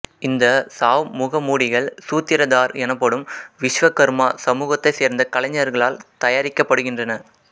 இந்த சாவ் முகமூடிகள் சூத்திரதார் எனப்படும் விஸ்வகர்மா சமூகத்தைச் சேர்ந்த கலைஞர்களால் தயாரிக்கப்படுகின்றன